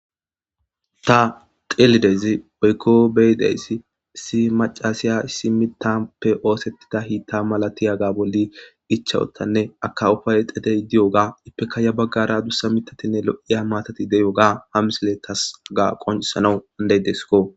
Ta xeelidezi oykko beyideyssi si macasiya simitape oosettida hiitta malatiyaga bolli ichawottanne akawufaay xedey diyoga ipeka ya baggara dussa mitatinne lo'iya maatati deyoga hamisile tasaga qoncisanawu andey desiko.